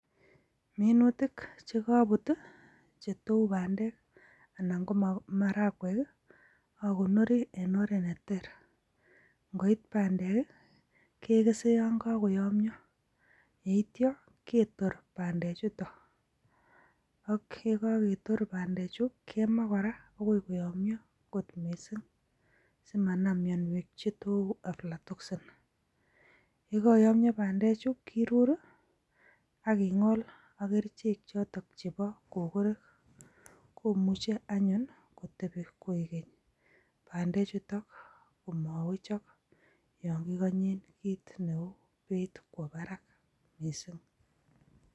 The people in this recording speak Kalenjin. Minuutik chekobuut chetou bandek, anan ko maragwek i,akonoori en oret neter. Ingoit bandek i keges yon kokoyomyoo. Yeityoo ketoor bandechutok, ak yekaketoor bandechu kemaa kora akoi koyomyo kot missing. Asimanaam mionwek chetou aflatoxin .Yekomyoo bandechu, kiruur i akingool ak kerichek choton chebo susurik. Komuche anyun kotebii koikeny bandechutok komowechok yon kikonyeen kit neu bei kwo barak missing.